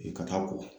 Ka taa ko